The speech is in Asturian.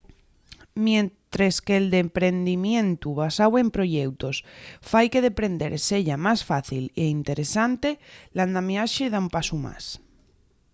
mientres que’l deprendimientu basáu en proyeutos fai que deprender seya más fácil y interesante l’andamiaxe da un pasu más